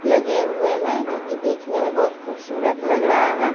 लगे हुए हैं जो की देखने में बहोत खूबसूरत लग रहा है।